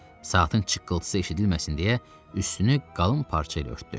Saatin çıqqıltısı eşidilməsin deyə üstünü qalın parçayla örtdü.